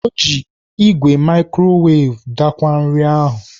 O ji igwe mikrowav daakwaa nri ahụ.